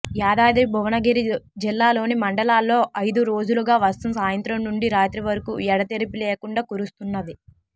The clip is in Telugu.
యాదాద్రి భువనగిరి జిల్లాలోని మండలాల్లో ఐదురోజులుగా వర్షం సాయంత్రం నుండి రాత్రి వరకు ఎడతెరిపి లేకుండా కురుస్తున్నది